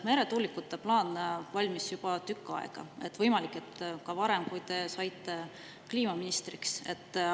Meretuulikute plaan valmis juba tükk aega tagasi, võimalik, et juba enne, kui te saite kliimaministriks.